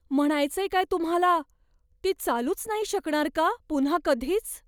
म्हणायचंय काय तुम्हाला? ती चालूच नाही शकणार का पुन्हा कधीच?